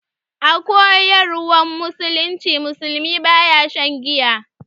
A koyarwan musulunci, musulmi baya shan giya.